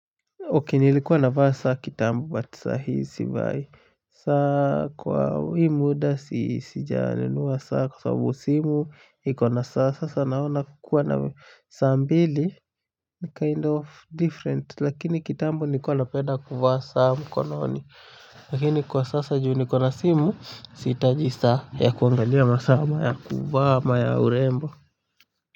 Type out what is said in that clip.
Okay nilikiwa navaa saa kitambo but sahii sivai. Saa kwa hii muda sijanunua saa kwa sababu simu ikona saa sasa naona kukuwa na saa mbili ni kind of different lakini kitambo nilikuwa napenda kuvaa saa mkononi lakini kwa sasa juu nikona simu sihitaji saa ya kuangalia masaa ama ya kuvaa ama ya urembo.